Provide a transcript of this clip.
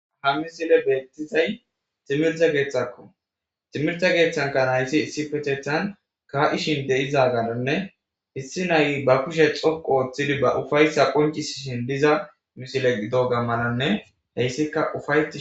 hammi sile beettizay timirtha geeththakko timirta geeththanka naysi issipethethan ka7ishin de7iza galonne issi nay ba kushe xoqo ooththidi ba ufayssa qoncis shin diza misile gido gammananne heyssikka ufay